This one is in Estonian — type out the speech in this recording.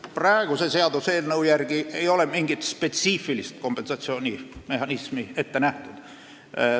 Praeguse seaduseelnõu järgi ei ole mingit spetsiifilist kompensatsioonimehhanismi ette nähtud.